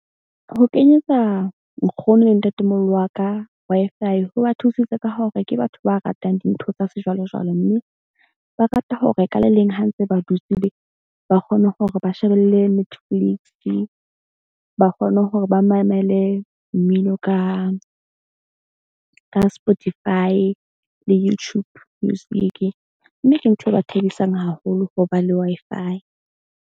Ho kenyetsa nkgono le ntatemoholo wa ka Wi-Fi ho ba thusitse ka hore ke batho ba ratang dintho tsa sejwalejwale. Mme ba rata ho re ka le leng ha ntse ba dutse ba kgone hore ba shebelle matrix-i ba kgone hore ba mamele mmino ka Spotify le Youtube music. Mme ke ntho e ba thabisang haholo ho ba le Wi-Fi.